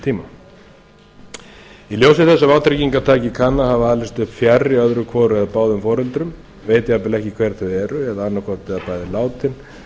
tíma í ljósi þess að vátryggingartaki kann að hafa alist upp fjarri öðru hvoru eða báðum foreldra viti jafnvel ekki hver þau eru eða annaðhvort eða bæði látin